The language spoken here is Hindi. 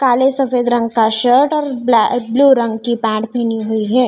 काले सफेद रंग का शर्ट और ब्लै ब्लू रंग की पैंट पैहनी हुई है।